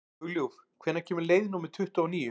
Hugljúf, hvenær kemur leið númer tuttugu og níu?